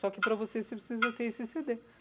Só que para você, você precisa ter esse cê dê.